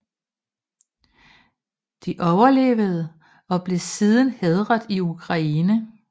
De overlevede og blev siden hædret i Ukraine